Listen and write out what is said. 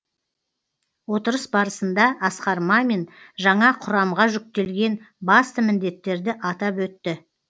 отырыс барысында асқар мамин жаңа құрамға жүктелген басты міндеттерді атап өтті